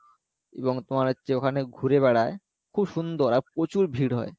এবং তোমার হচ্ছে ওখানে ঘুরে বেড়ায় খুব সুন্দর আর প্রচুর ভিড় হয়